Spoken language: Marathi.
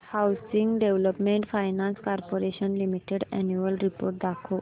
housing development finance corporation limited annual report दाखव